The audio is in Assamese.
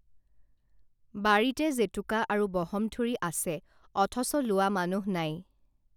বাৰীতে জেতুকা আৰু বহমথুৰি আছে অথচ লোৱা মানুহ নাই